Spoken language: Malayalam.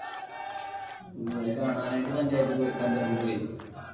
ഓ അത് കാണാൻ ആയിട്ട് പഞ്ചായത്ത്പഞ്ചാബിൽ പോയി?